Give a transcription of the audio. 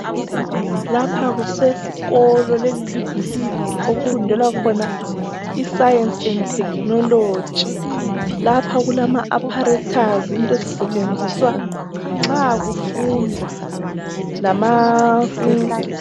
Lapha kusesikolo, leli libhilidi okufundelwa khona isayensi endi thekinoloji. Lapha kulama apharethazi int' ezisetshenziswa nxa kufundwa lama ...